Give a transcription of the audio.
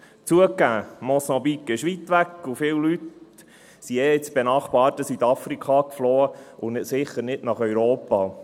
Zugegeben, Mosambik ist weit weg, und viele Leute sind eh ins benachbarte Südafrika geflohen, und sicher nicht nach Europa.